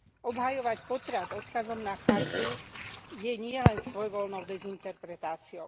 Obhajovať potrat odkazom na chartu je nielen svojvoľnou dezinterpretáciou.